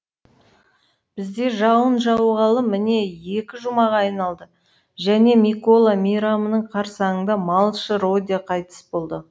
бізде жауын жауғалы міне екі жұмаға айналды және микола мейрамының қарсаңында малшы родя қайтыс болды